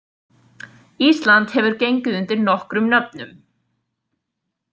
Ísland hefur gengið undir nokkrum nöfnum.